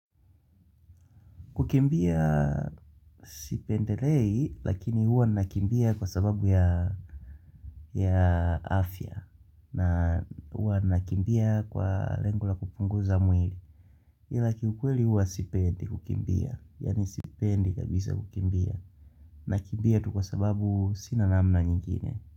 Kukimbia sipendelei, lakini huwa nakimbia kwa sababu ya afya. Na huwa nakimbia kwa lengo la kupunguza mwili. Ila kiukweli huwa sipendi kukimbia. Yaani sipendi kabisa kukimbia. Nakimbia tu kwa sababu sina namna nyingine.